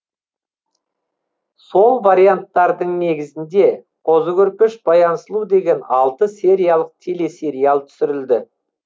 сол варианттардың негізінде қозы көрпеш баян сұлу деген алты сериялық телесериал түсірілді